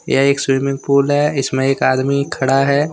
यह एक swimming pool है इसमें एक आदमी खड़ा है।